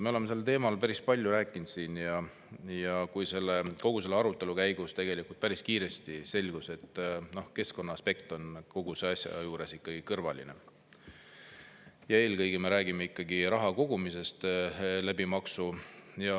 Me oleme sel teemal siin päris palju rääkinud ja selle arutelu käigus tegelikult päris kiiresti selgus, et keskkonnaaspekt on kogu selle asja juures kõrvaline ja eelkõige me räägime ikkagi maksuga raha kogumisest.